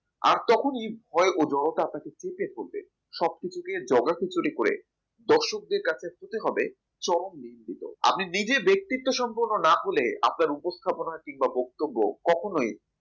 আর তখনই ভয়ের জড়তা আপনাকে চেপে ধরবে সবকিছু দিয়ে জগাখিচুড়ি করে দর্শকদের কাছে পেতে হবে চরম বিস্তৃত আপনি নিজের ব্যক্তিত্বের সম্পূর্ণ না হলে আপনার উপস্থাপনা কিংবা বক্তব্য কখনোই